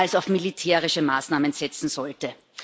als auf militärische Maßnahmen setzen sollte.